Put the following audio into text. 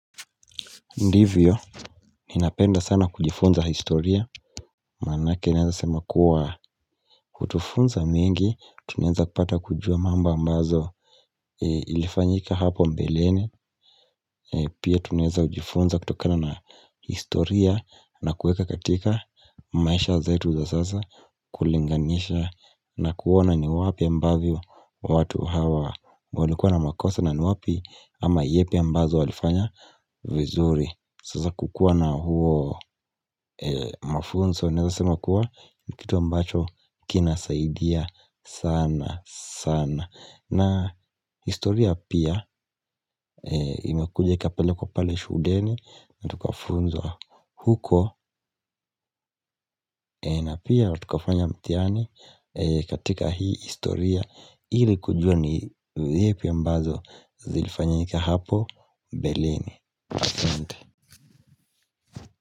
Ndivyo, ninapenda sana kujifunza historia, manake naeza sema kuwa utufunza mingi, tunaeza kupata kujua mambo ambazo ilifanyika hapo mbeleni, pia tunaeza ujifunza kutokana na historia na kueka katika maisha zetu za sasa kulinganisha na kuona ni wapi ambavyo watu hawa walikuwa na makosa na ni wapi ama yepi ambazo walifanya vizuri. Sasa kukua na huo mafunzo naeza sema kuwa ni kitu ambacho kinasaidia sana sana na historia pia imekuja ikapelekwa pale shudeni na tukafunzwa huko na pia tukafanya mtihani katika hii historia ili kujua ni zipi ambazo zilifanyika hapo mbeleni ahsante.